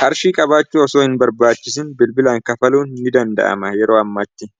qarshii qabaachu osoo hin barbaachisin bilbilaan kafaluu ni danda'ama yeroo ammaati